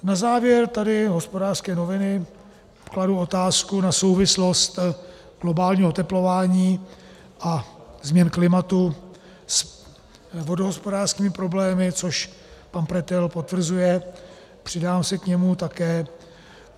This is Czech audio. Na závěr tady Hospodářské noviny kladou otázku na souvislost globálního oteplování a změn klimatu s vodohospodářskými problémy, což pan Pretel potvrzuje, přidám se k němu také.